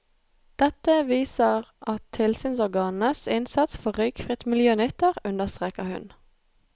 Dette viser at tilsynsorganenes innsats for røykfritt miljø nytter, understreker hun.